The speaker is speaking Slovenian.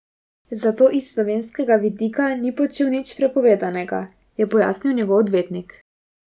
Zato iz slovenskega vidika ni počel nič prepovedanega, je pojasnil njegov odvetnik.